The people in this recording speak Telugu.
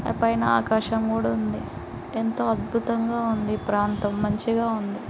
ఆ పైన ఆకాశం కూడా ఉంది. ఎంతో అద్భుతంగా ఉంది. ఈ ప్రాంతం మంచిగా ఉంది.